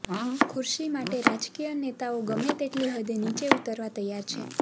ખુરશી માટે રાજકીય નેતાઓ ગમેતેટલી હદે નીચા ઉતરવા તૈયાર છે